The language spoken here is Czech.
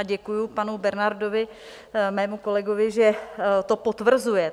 A děkuju panu Bernardovi, mému kolegovi, že to potvrzuje.